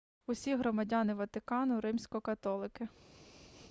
усі громадяни ватикану римсько-католики